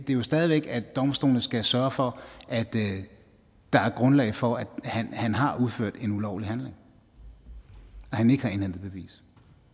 det jo stadig væk at domstolene skal sørge for at der er grundlag for at han har udført en ulovlig handling at han ikke har indhentet bevis